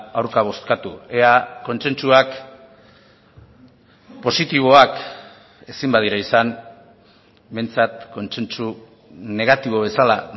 aurka bozkatu ea kontsentsuak positiboak ezin badira izan behintzat kontsentsu negatibo bezala